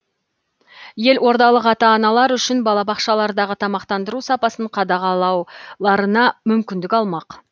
елордалық ата аналар үшін балабақшалардағы тамақтандыру сапасын қадағалауларына мүмкіндік алмақ